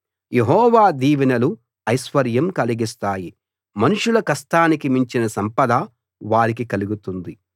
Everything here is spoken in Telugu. యెహోవా దీవెనలు ఐశ్వర్యం కలిగిస్తాయి మనుషుల కష్టానికి మించిన సంపద వారికి కలుగుతుంది